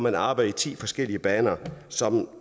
at arbejde i ti forskellige baner som